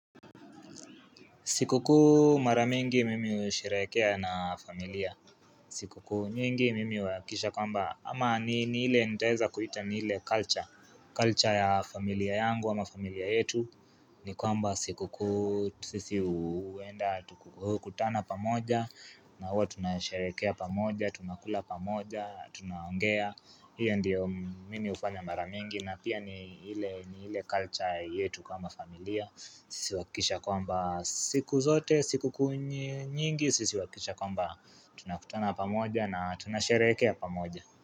Sikukuu maramingi mimi husheherekea na familia. Sikukuu mingi mimi huakisha kwamba ama ni hile nitaeza kuita ni ile culture. Culture ya familia yangu a mafamilia yetu. Ni kwamba sikukuu sisi hu kutana pamoja na huwa tunasherekea pamoja, tunakula pamoja, tunaongea Hio ndio mimi hufanya maramingi na pia ni ile culture yetu kama familia sisi huakikisha kwamba siku zote, siku kuunyingi, sisi huakikisha kwamba tunakutana pamoja na tunasherehekea pamoja.